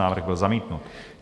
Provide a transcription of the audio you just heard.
Návrh byl zamítnut.